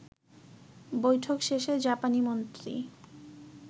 বৈঠক শেষে জাপানি মন্ত্রী